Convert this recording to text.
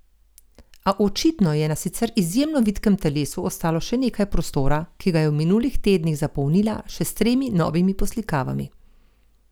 A očitno ji je na sicer izjemno vitkem telesu ostalo še nekaj prostora, ki ga je v minulih tednih zapolnila še s tremi novimi poslikavami.